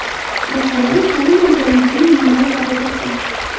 Masalan, ta’lim olganlikning minimal darajasi.